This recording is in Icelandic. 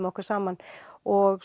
okkur saman og